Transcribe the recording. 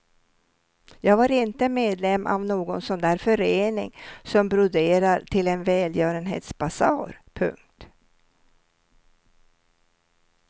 Jag var inte medlem av någon sån där förening som broderar till en välgörenhetsbasar. punkt